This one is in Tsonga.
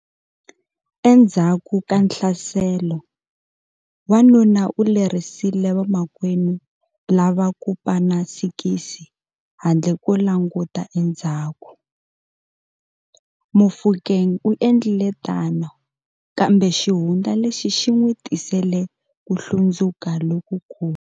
Endzhaku ka nhlaselo, wanuna u lerisile vamakwenu lava ku pana sikisi handle ko languta endzhaku. Mofokeng u endlile tano kambe xihundla lexi xi n'wi tisele ku hlundzuka lokukulu.